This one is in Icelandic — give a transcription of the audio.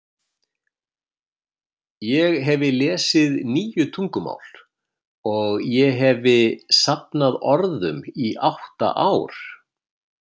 Ég hefi lesið níu tungumál, og ég hefi safnað orðum í átta ár.